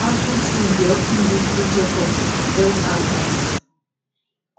outreach teams dey of ten give free checkups and health advice